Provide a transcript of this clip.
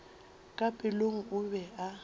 ka pelong o be a